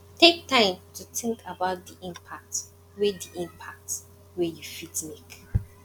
take time to think about di impact wey di impact wey you fit make